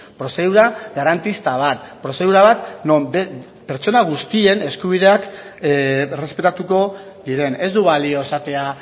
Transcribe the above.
prozedura garantista bat prozedura bat non pertsona guztien eskubideak errespetatuko diren ez du balio esatea